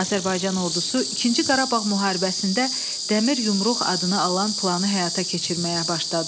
Azərbaycan ordusu ikinci Qarabağ müharibəsində dəmir yumruq adını alan planı həyata keçirməyə başladı.